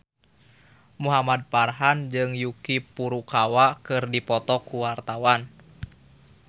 Muhamad Farhan jeung Yuki Furukawa keur dipoto ku wartawan